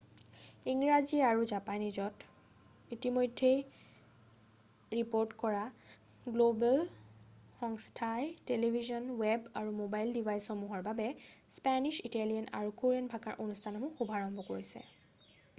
ইংৰাজী আৰু জাপানীজত ইতিমধ্যেই ৰিপৰ্ট কৰা গ্ল'বেল সংস্থাই টেলিভিছন ৱেব আৰু ম'বাইল ডিভাইচসমূহৰ বাবে স্পেনিছ ইটালিয়ান আৰু কোৰিয়ান ভাষাৰ অনুষ্ঠানসমূহৰ শুভাৰম্ভ কৰিছে৷